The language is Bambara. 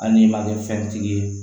Hali n'i ma kɛ fɛntigi ye